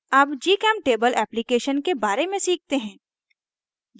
अब gchemtable application के बारे में सीखते हैं